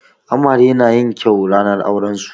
Amare na yin kyau ranar auren su.